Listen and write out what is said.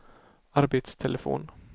arbetstelefon